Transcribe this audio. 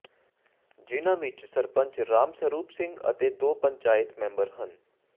ਜਿਨ੍ਹਾਂ ਵਿੱਚ ਸਰਪੰਚ ਰਾਮ ਸਰੂਪ ਸਿੰਘ ਅਤੇ ਦੋ ਪੰਚਾਇਤ ਮੈਂਬਰ ਹਨ